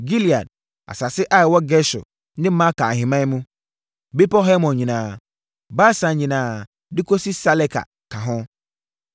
Gilead, asase a ɛwɔ Gesur ne Maaka ahemman mu, Bepɔ Hermon nyinaa, Basan nyinaa de kɔsi Saleka ka ho,